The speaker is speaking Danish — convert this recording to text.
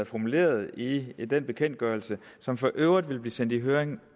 formuleret i i den bekendtgørelse som for øvrigt vil blive sendt i høring